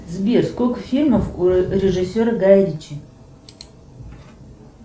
сбер сколько фильмов у режиссера гая ричи